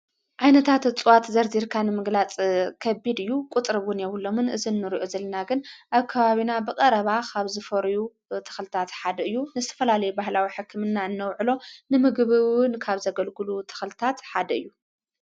ኣይነታ ኣጽዋት ዘርዲርካንምግላጽ ኸቢድ እዩ ቊጥርቡን የብሎምን እዝኑርዑ ዝልና ግን ኣብ ከባቢና ብቐረባ ኻብ ዝፈሩዩ ተኸልታት ሓደ እዩ ንስፈላለይ ባሕላዊ ሕክምና እነውዕሎ ንምግብውን ካብ ዘገልግሉ ተኸልታት ሓደ እዩ።